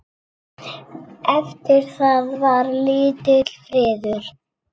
Eftir það var lítill friður.